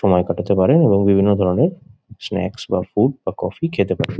সময় কাটাতে পারেন এবং বিভিন্ন ধরণের স্ন্যাকস বা ফুড বা কফি খেতে পারেন।